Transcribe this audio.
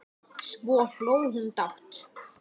Svo hló hún dátt.